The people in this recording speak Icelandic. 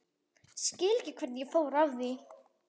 Skil ekki hvernig ég fór að því.